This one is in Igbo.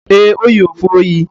Ee, O yi efe oyi.